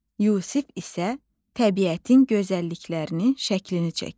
Yusif isə təbiətin gözəlliklərinin şəklini çəkir.